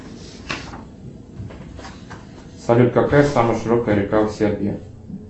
салют какая самая широкая река в сербии